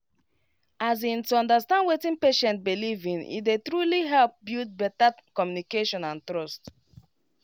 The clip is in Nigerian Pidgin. as in to understand wetin patient beleive ine dey truly help build better communication and trust